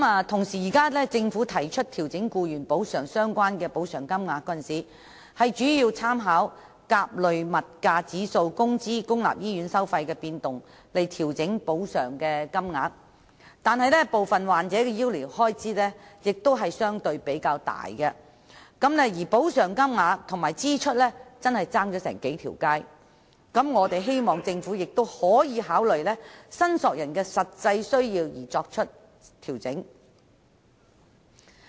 同時，政府在調整僱員補償金額時，主要是以甲類消費物價指數、工資及公立醫院收費的變動作為參考，但部分患者的醫療開支相對較大，故補償金額與醫療支出之間的差距甚遠，因此我們希望政府能考慮按申索人的實際需要而作出調整。